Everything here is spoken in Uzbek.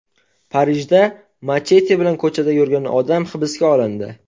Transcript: Parijda machete bilan ko‘chada yurgan odam hibsga olindi.